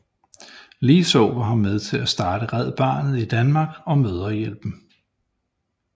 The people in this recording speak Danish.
Ligeså var hun med til at starte Red Barnet i Danmark og Mødrehjælpen